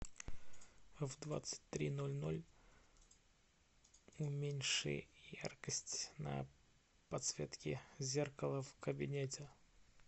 в двадцать три ноль ноль уменьши яркость на подсветке зеркала в кабинете